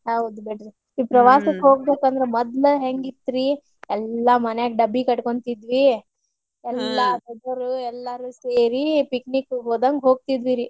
ಹೌದ್ರಿ ಪ್ರವಾಸಕ್ ಹೋಗ್ಬೇಕಂದ್ರ ಮೊದ್ಲ ಹೆಂಗಿತ್ತ್ರಿ ಎಲ್ಲಾ ಮನ್ಯಾಗ್ ಡಬ್ಬಿ ಕಟ್ಕೊಂತಿದ್ವಿ ಎಲ್ಲ ಹುಡುಗ್ರು ಎಲ್ಲಾರೂ ಸೇರಿ picnic ಹೋದಂಗ ಹೋಗ್ತಿದ್ವಿರಿ.